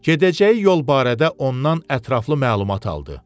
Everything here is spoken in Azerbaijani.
Gedəcəyi yol barədə ondan ətraflı məlumat aldı.